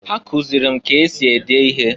Ha kụzịlị m ka esi ede ihe.